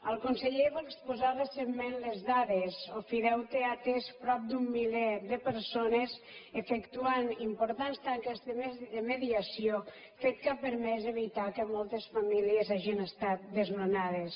el conseller en va exposar recentment les dades ofideute ha atès prop d’un miler de persones i ha efectuat importants tasques de mediació fet que ha permès evitar que moltes famílies hagin estat desnonades